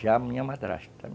Já a minha madrasta.